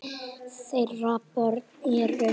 Þeirra börn eru.